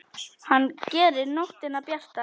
Hann gerir nóttina bjarta.